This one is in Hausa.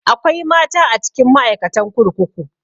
Akwai mata a cikin ma'aikatan kurkuku